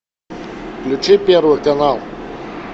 включи первый канал